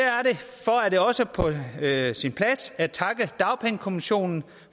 er derfor på sin plads at takke dagpengekommissionen